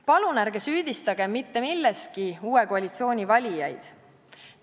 Palun ärge süüdistage mitte millestki uue koalitsiooni valijaid!